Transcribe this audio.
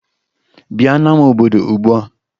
Bịa n'ama obodo ugbua!